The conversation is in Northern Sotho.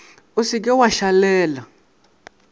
o se ke wa šalela